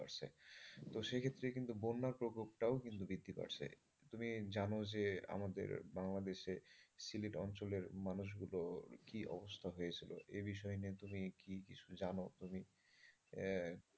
তো সে ক্ষেত্রে কিন্তু বন্যার প্রকোপটাও কিন্তু বৃদ্ধি পাচ্ছে তুমি জানো যে আমাদের বাংলাদেশে সিলেট অঞ্চলের মানুষ গুলোর কি অবস্থা হয়েছিলো। এ বিষয় নিয়ে তুমি কি কিছু জানো তুমি?